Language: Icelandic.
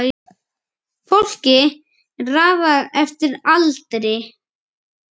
Fólki er raðað eftir aldri